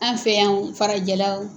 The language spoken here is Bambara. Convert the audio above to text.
An fɛ yan o farajɛla o